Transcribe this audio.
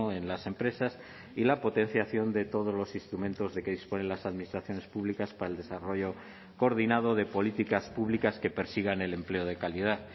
en las empresas y la potenciación de todos los instrumentos de que disponen las administraciones públicas para el desarrollo coordinado de políticas públicas que persigan el empleo de calidad